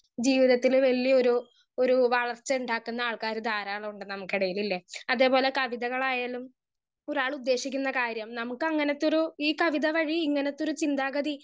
speaker 1 ജീവിതത്തിൽ വല്യൊരു ഒരു വളർച്ച ഇണ്ടാകുന്ന ആൾകാർ ധാരാളുണ്ട് നമ്മുക്ക് ഇടയിൽ ഇല്ലേ അതേപോലെ കവിതകളായാലും ഒരാൾ ഉദ്ദേശിക്കുന്ന കാര്യം നമ്മുക്ക് അങ്ങനത്തൊരു ഈ കവിത വഴി ഇങ്ങനത്തൊരു ചിന്താഗതി